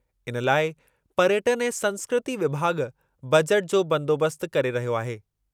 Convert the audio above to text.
इन लाइ पर्यटनु ऐं संस्कृती विभाॻ, बजेट जो बंदोबस्तु करे रहियो आहे।